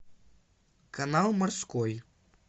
канал морской